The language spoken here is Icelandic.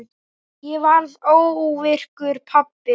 Ég varð óvirkur pabbi.